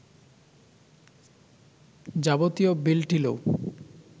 যাবতীয় বিল-টিলও